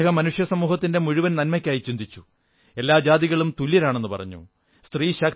അദ്ദേഹം മനുഷ്യസമൂഹത്തിന്റെ മുഴുവൻ നന്മയ്ക്കായി ചിന്തിച്ചു എല്ലാ ജാതികളും തുല്യരാണെന്നു പറഞ്ഞു